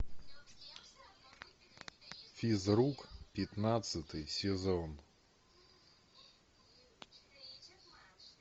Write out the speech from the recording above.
физрук пятнадцатый сезон